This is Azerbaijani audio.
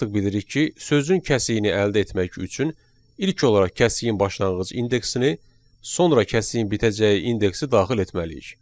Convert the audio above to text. Biz artıq bilirik ki, sözün kəsiyini əldə etmək üçün ilk olaraq kəsiyin başlanğıc indeksini, sonra kəsiyin bitəcəyi indeksi daxil etməliyik.